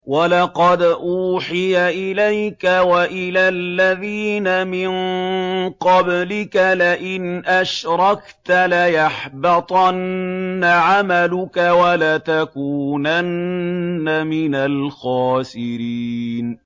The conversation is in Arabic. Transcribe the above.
وَلَقَدْ أُوحِيَ إِلَيْكَ وَإِلَى الَّذِينَ مِن قَبْلِكَ لَئِنْ أَشْرَكْتَ لَيَحْبَطَنَّ عَمَلُكَ وَلَتَكُونَنَّ مِنَ الْخَاسِرِينَ